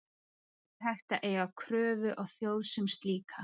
Ekki er hægt að eiga kröfu á þjóð sem slíka.